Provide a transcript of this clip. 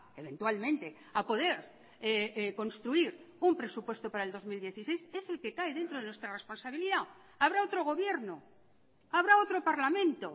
eventualmente a poder construir un presupuesto para el dos mil dieciséis es el que cae dentro de nuestra responsabilidad habrá otro gobierno habrá otro parlamento